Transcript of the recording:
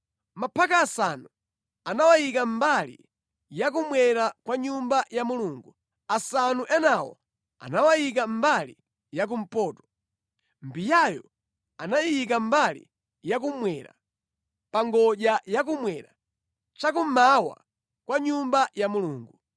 Maphaka asanu anawayika mbali ya kummwera kwa Nyumba ya Mulungu, asanu enawo anawayika mbali ya kumpoto. Mbiyayo anayiyika mbali yakummwera, pa ngodya yakummwera cha kummawa kwa Nyumba ya Mulungu.